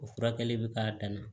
O furakɛli bɛ k'a dana